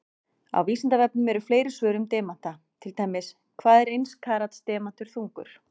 Á Vísindavefnum eru fleiri svör um demanta, til dæmis: Hvað er eins karats demantur þungur?